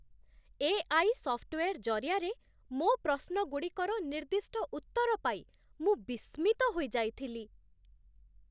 AI. Software ଜରିଆରେ ମୋ ପ୍ରଶ୍ନଗୁଡ଼ିକର ନିର୍ଦ୍ଦିଷ୍ଟ ଉତ୍ତର ପାଇ ମୁଁ ବିସ୍ମିତ ହୋଇଯାଇଥିଲି।